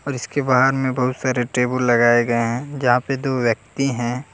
इसके बाहर में बहुत सारे टेबुल लगाए गए है जहां पे दो व्यक्ति है।